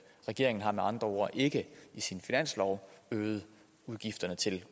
regeringen har med andre ord ikke i sin finanslov øget udgifterne til